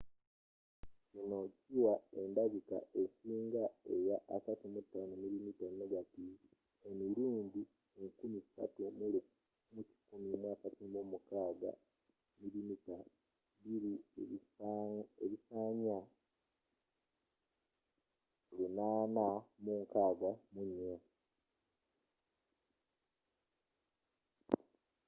kino kiwa endabika esinga eya 35mm negative emirundi 3136 mm2 ebisanya 864